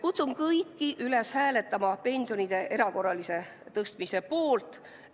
Kutsun kõiki üles hääletama pensionide erakorralise tõstmise poolt!